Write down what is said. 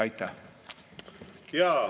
Aitäh!